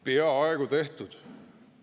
Peaaegu tehtud.